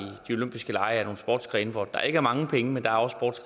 de olympiske lege er nogle sportsgrene hvor der ikke er mange penge men der er også